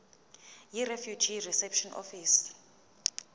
yirefugee reception office